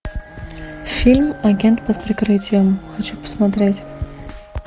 фильм агент под прикрытием хочу посмотреть